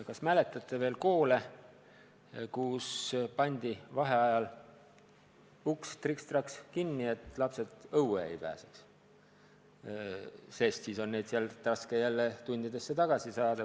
Kas mäletate veel koole, kus pandi vaheajal uks triks-traks kinni, et lapsed õue ei pääseks, sest siis on neid sealt raske jälle tundidesse tagasi saada.